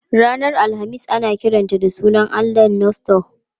Ranar Alhamis ana kiranta da sunan allahn Norse Thor.